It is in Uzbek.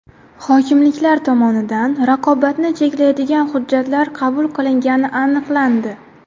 Hokimliklar tomonidan raqobatni cheklaydigan hujjatlar qabul qilingani aniqlandi.